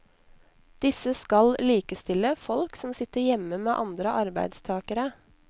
Disse skal likestille folk som sitter hjemme med andre arbeidstagere.